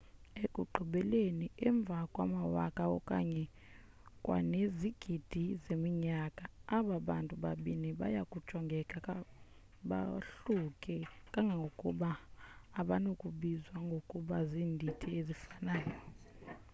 ekugqibeleni emva kwamawaka okanye kwanezigidi zeminyaka aba bantu babini baya kujongeka bahluke kangangokuba abanakubizwa ngokuba ziindidi ezifanayo